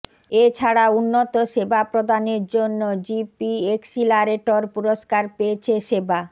এছাড়াও উন্নত সেবা প্রদানের জন্য জিপি এক্সিলারেটর পুরস্কার পেয়েছে সেবা